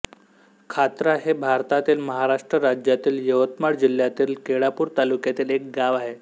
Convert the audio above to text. खातरा हे भारतातील महाराष्ट्र राज्यातील यवतमाळ जिल्ह्यातील केळापूर तालुक्यातील एक गाव आहे